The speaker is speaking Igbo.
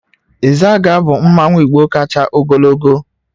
Izaga bu mmanwu igbo kacha ogologo